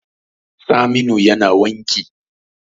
Saminu yana wanki